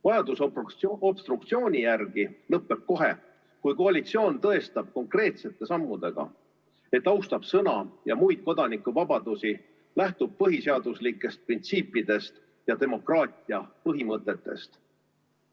Vajadus obstruktsiooni järele lõpeb kohe, kui koalitsioon tõestab konkreetsete sammudega, et austab sõnavabadust ja muid kodanikuvabadusi, lähtub põhiseaduslikest printsiipidest ja demokraatia põhimõtetest.